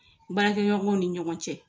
Baarakɛɲɔgɔnw ni ɲɔgɔn cɛ.